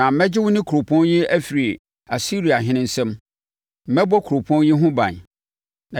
Na mɛgye wo ne kuropɔn yi afiri Asiriahene nsam. Mɛbɔ kuropɔn yi ho ban.